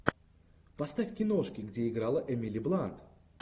поставь киношки где играла эмили блант